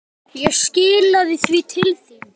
Ég skilaði því til þín.